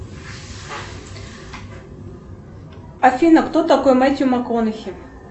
афина кто такой мэтью макконахи